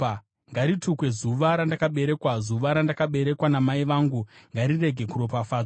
Ngaritukwe zuva randakaberekwa! Zuva randakaberekwa namai vangu ngarirege kuropafadzwa!